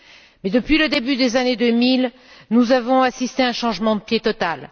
Mais, depuis le début des années 2000, nous avons assisté à un changement de pied total.